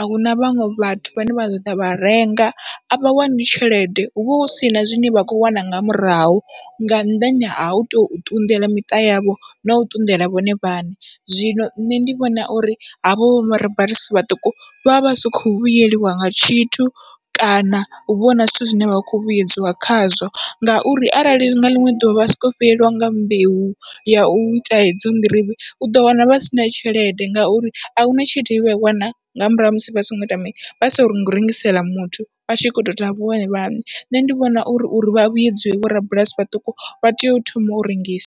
ahuna vhaṅwe vhathu vhane vha ḓoḓa vha renga, avha wani tshelede huvha husina zwine vha khou wana nga murahu nga nnḓani ha utou ṱunḓela miṱa yavho no ṱunḓela vhone vhaṋe. Zwino nṋe ndi vhona uri havho vho rabulasi vhaṱuku vha vha vha si kho vhuyelwa nga tshithu, kana huvha huna zwithu zwine vha kho vhuyedzwa khazwo ngauri arali nga ḽiṅwe ḓuvha vha soko fhelelwa nga mbeu ya uita edzo nḓirivhe, uḓo wana vha sina tshelede ngauri ahuna tshilede ye vha i wana nga murahu ha musi vha songo ita mini vha songo rengisela muthu, vhatshi kho tou ita nga vhone vhaṋe nṋe ndi vhona uri uri vha vhudziwe vho rabulasi vhaṱuku vha tea u thoma u rengisa.